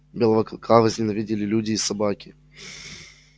белого клыка возненавидели люди и собаки